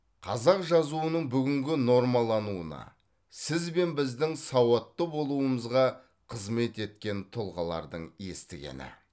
қазақ жазуының бүгінгі нормалануына сіз бен біздің сауатты болуымызға қызмет еткен тұлғалардың естігені